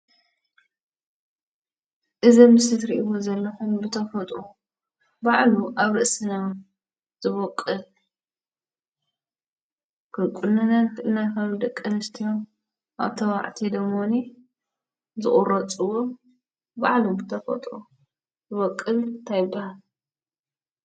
እዚ ኣብ ምስሊ ትሪእይዎ ዘለኹም ብተፈጥሮ ባዕሉ ኣብ ርእስና ዝበቊል ክንቁነኖ ንኽእል ኢና: ኣብ ደቂ ኣነስትዮ ኣብ ተባዕትዮ ደሞኒ ዝቑረፅዎ ባዕሉ ብተፈጥሮ ዝበቊል እንታይ ይበሃል?